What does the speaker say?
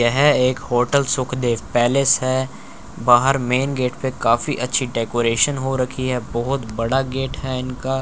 यह एक hotel Sukhdev palace है बाहर मेंन गेट पे काफी अच्छी डेकोरेशन हो रखी है बहुत बड़ा गेट है इनका--